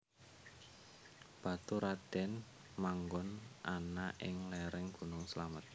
Baturadèn manggon ana ing léréng gunung Slamet